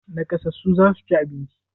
Naƙasassu za su ci abinci.